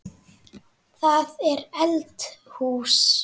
Það er eldhús.